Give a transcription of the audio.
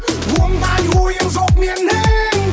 ондай ойым жоқ менің